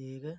ये एक